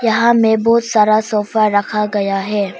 यहां मे बहुत सारा सोफा रखा गया है।